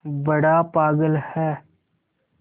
बड़ा पागल है